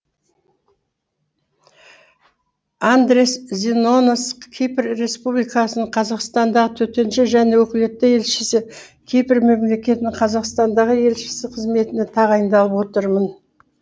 андреас зинонос кипр республикасының қазақстандағы төтенше және өкілетті елшісі кипр мемлекетінің қазақстандағы елшісі қызметіне тағайындалып отырмын